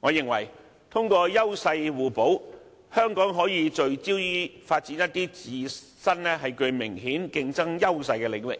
我認為通過優勢互補，香港可以聚焦發展一些自身具明顯競爭優勢的領域，